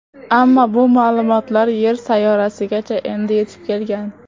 Ammo bu ma’lumotlar Yer sayyorasigacha endi yetib kelgan.